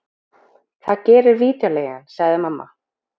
Það gerir vídeóleigan, sagði mamma.